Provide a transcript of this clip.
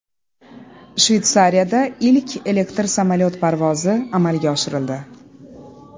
Shveysariyada ilk elektr samolyot parvozi amalga oshirildi.